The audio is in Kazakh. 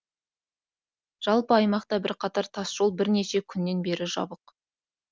жалпы аймақта бірқатар тасжол бірнеше күннен бері жабық